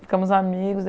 Ficamos amigos.